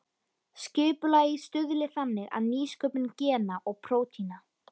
Skipulagið stuðli þannig að nýsköpun gena og prótína.